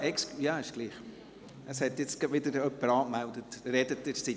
Es hat sich wieder jemand angemeldet, aber sprechen Sie nur.